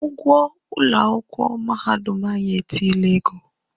Our University school fees has increased.